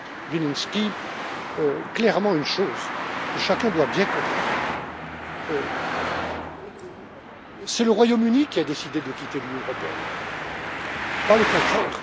Vilimsky, une chose que chacun doit bien comprendre c'est le Royaume Uni qui a décidé de quitter l'Union européenne et pas le contraire.